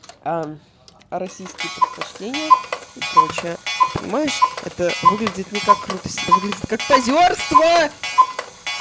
а а российские предпочтения и прочее понимаешь это выглядит никак крутость это выглядит как позёрство